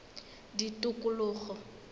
tikologo